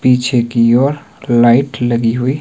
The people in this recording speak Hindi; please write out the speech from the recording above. पीछे की ओर लाइट लगी हुई --